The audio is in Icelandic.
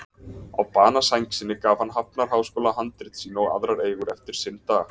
Á banasæng sinni gaf hann Hafnarháskóla handrit sín og aðrar eigur eftir sinn dag.